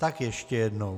Tak ještě jednou.